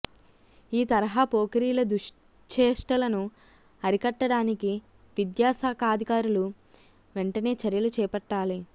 ఈ తరహా పోకిరీల దుశ్చేష్టలను అరికట్టడానికి విద్యాశా ఖాధికారులు వెంటనే చర్యలుచేపట్టాలి